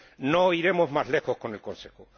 No iremos más lejos con el Consejo.